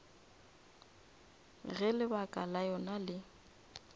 ge lebaka la yona le